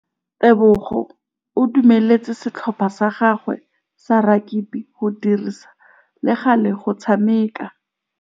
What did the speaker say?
Tebogô o dumeletse setlhopha sa gagwe sa rakabi go dirisa le galê go tshameka.